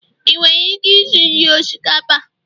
ị nwere ike isi nri osikapa?